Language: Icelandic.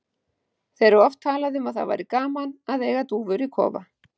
Þeir hafa oft talað um að það væri gaman að eiga dúfur í kofa.